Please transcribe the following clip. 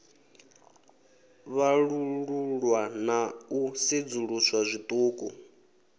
vhalululwa na u sedzuluswa zwiṱuku